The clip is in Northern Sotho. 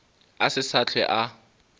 a se sa hlwe a